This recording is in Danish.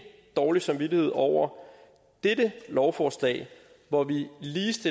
dårlig samvittighed over dette lovforslag hvor vi